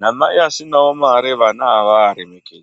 namai asinawo mare vana avaaremekedzi.